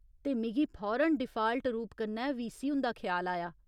ते मिगी फौरन डिफाल्ट रूप कन्नै वीसी हुंदा ख्याल आया।